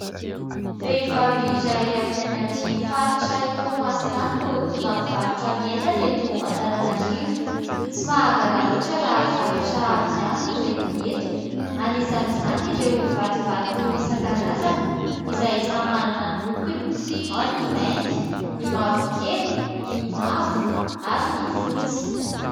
Vehivavy iray avy any amin'ny faritra Toamasina any no tonga mivarotra ny entany eto Antananarivo. Tsy mahagaga loatra raha zavatra avy any no entiny eto. Anisan'izany ireo vatovato isan-karazany izay samy manana ny lokony : ao ny mainty, ny mavokely, ny mavo ary ny fotsy.